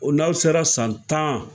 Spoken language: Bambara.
O n'aw sera san tan.